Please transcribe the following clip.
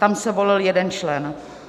Tam se volil jeden člen.